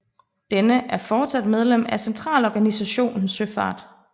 Denne er fortsat medlem af Centralorganisationen Søfart